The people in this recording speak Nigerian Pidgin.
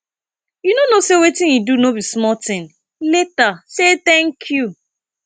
you no say wetin he do no be small thing later say thank you